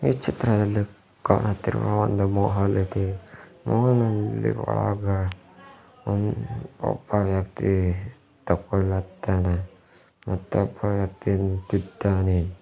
ಈ ಚಿತ್ರದಲ್ಲಿ ಕಾಣುತ್ತಿರುವ ಒಂದು ಮಹಲ್ ಇದೆ ಮಾಲ್ ನಲ್ಲಿ ಒಳಗ ಒಬ್ಬ ವ್ಯಕ್ತಿ ಮತ್ತೊಬ್ಬ ವ್ಯಕ್ತಿ ನಿಂತಿದ್ದಾನೆ.